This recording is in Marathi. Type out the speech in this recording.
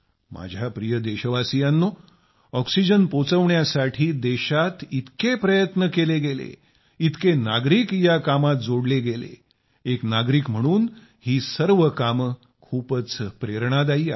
माझ्या प्रिय देशवासियांनो ऑक्सिजन पोहोचविण्यासाठी देशात इतके प्रयत्न केले गेले इतके नागरिक या कामात जोडले गेले एक नागरिक म्हणून ही सर्व कामे खूपच प्रेरणादायी आहेत